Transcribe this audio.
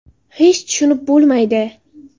Hech tushunib bo‘lmaydi!